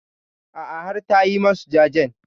A'a har ta yi masu jajen.